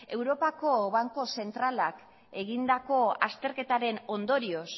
europako banku zentralak egindako azterketaren ondorioz